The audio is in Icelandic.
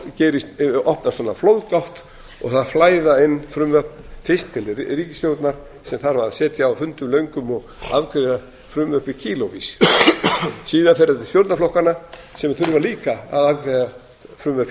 klárast á sumarþingi þá opnast flóðgátt og það flæða inn frumvörp fyrst til ríkisstjórnar sem þarf að sitja á fundum löngum og afgreiða frumvörp í kílóavís síðan fer það til stjórnarflokkanna sem þurfa líka að afgreiða frumvörp